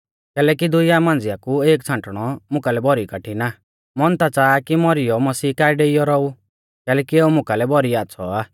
कैलैकि इऊं दुइया मांझ़िया कु एक छ़ांटणौ मुकालै भौरी कठिण आ मन ता च़ाहा आ कि मौरीयौ मसीह काऐ डेइयौ रौऊ कैलैकि एऊ मुकालै भौरी आच़्छ़ौ आ